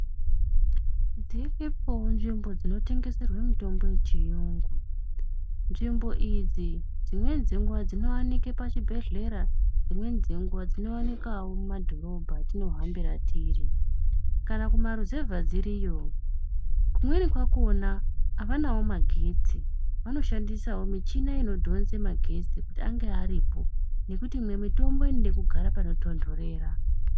Dziripoo nzvimbo dzinotengeserwe mitombo yechiyungu Nzvimbo idzi dzimweni dzenguva dzinovanikwe pachibhedhlera dzimweni dzenguva dzinovanikwavo mumadhorobha atinohambira tiri. Kana kumaruzevha dziriyovo kumweni kwakona havanavo magetsi vanoshandisavo michina inodhonza magetsi kuti ange aripo. Ngekuti imwe mitombo inode kugara panotonhorera.